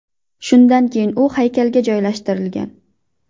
Shundan keyin u haykalga joylashtirilgan.